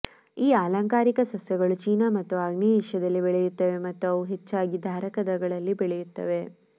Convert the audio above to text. ಈ ಅಲಂಕಾರಿಕ ಸಸ್ಯಗಳು ಚೀನಾ ಮತ್ತು ಆಗ್ನೇಯ ಏಷ್ಯಾದಲ್ಲಿ ಬೆಳೆಯುತ್ತವೆ ಮತ್ತು ಅವು ಹೆಚ್ಚಾಗಿ ಧಾರಕಗಳಲ್ಲಿ ಬೆಳೆಯುತ್ತವೆ